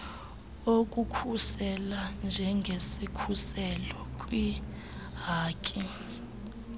okukhusela njengesikhuselo kwiihaki